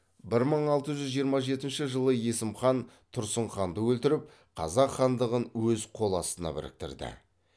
бір мың алты жүз жиырма жетінші жылы есім хан тұрсын ханды өлтіріп қазақ хандығын өз қол астына біріктірді